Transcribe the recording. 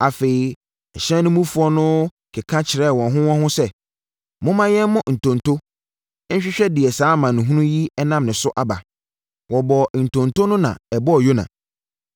Afei ɛhyɛn no mufoɔ no keka kyerɛɛ wɔn ho wɔn ho sɛ, “Momma yɛmmɔ ntonto nhwehwɛ deɛ saa amanehunu yi nam ne so aba.” Wɔbɔɔ ntonto no na ɛbɔɔ Yona.